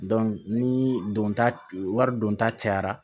ni donta wari don ta cayara